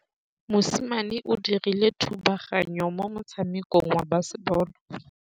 Mosimane o dirile thubaganyô mo motshamekong wa basebôlô.